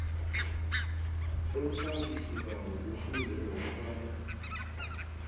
umfakisibawo kufuze nokobana